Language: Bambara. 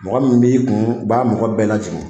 Mɔgɔ min b'i kun u b'a mɔgɔ bɛɛ lajigin